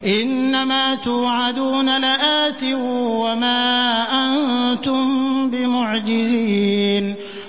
إِنَّ مَا تُوعَدُونَ لَآتٍ ۖ وَمَا أَنتُم بِمُعْجِزِينَ